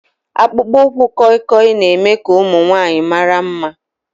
Akpụkpọ ụkwụ kọịkọị na-eme ka ụmụ nwanyị mara mma